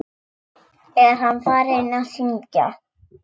Er hann farinn að syngja?